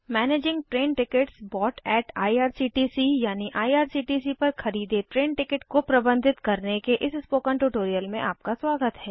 managing train tickets about at IRCTC यानिIRCTC पर खरीदे ट्रेन टिकट को प्रबंधित करने के इस स्पोकन ट्यूटोरियल में आपका स्वागत है